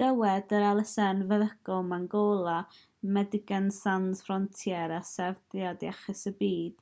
dywed yr elusen feddygol mangola medecines sans frontieres a sefydliad iechyd y byd